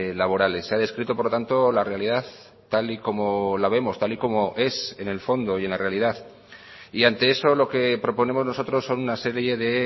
laborales se ha descrito por lo tanto la realidad tal y como la vemos tal y como es en el fondo y en la realidad y ante eso lo que proponemos nosotros son una serie de